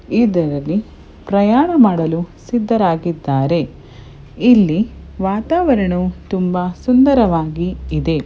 ಇದರಲ್ಲಿ ಪ್ರಯಾಣ ಮಾಡಲು ಸಿದ್ದರಾಗಿದ್ದಾರೆ ಇಲ್ಲಿ ವಾತಾವರಣವೂ ತುಂಬಾ ಸುಂದವಾಗಿ ಇದೆ.